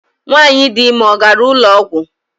Nwanyị dị ime ọ gara ụlọ ọgwụ?